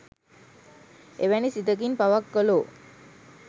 එවැනි සිතකින් පවක් කළෝ